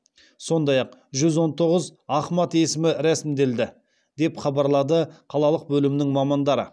сондай ақ жүз он тоғыз ахмад есімі рәсімделді деп хабарлады қалалық бөлімнің мамандары